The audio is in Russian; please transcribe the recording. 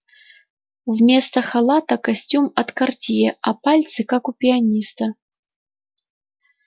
вместо халата костюм от картье а пальцы как у пианиста